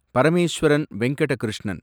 Parameswaran Venkata Krishnan